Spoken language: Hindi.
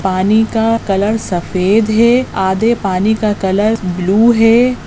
पानी का कलर सफेद है आधे पानी का कलर ब्लू है।